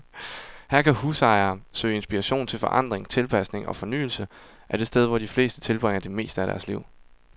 Her kan husejere søge inspiration til forandring, tilpasning og fornyelse af det sted, hvor de fleste tilbringer det meste af deres liv.